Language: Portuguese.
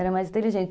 Era mais inteligente.